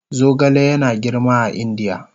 Zogale yana girma a Indiya